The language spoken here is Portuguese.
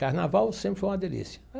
Carnaval sempre foi uma delícia.